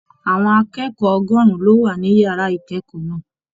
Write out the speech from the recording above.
Àwọn akẹ́kọ̀ọ́ ọgọrùn lo wà ní yàrá ikẹkọọ náà.